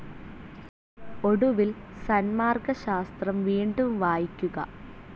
ഒടുവിൽ സന്മാർഗ്ഗശാസ്ത്രം വീണ്ടും വായിക്കുക.